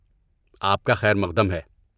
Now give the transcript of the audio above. آپ کا خیر مقدم ہے۔